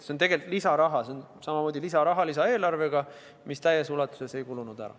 See on tegelikult lisaraha, see on samamoodi lisaeelarvest pärit lisaraha, mis täies ulatuses ei kulunud ära.